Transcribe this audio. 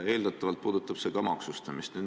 Eeldatavalt puudutab see ka maksustamist.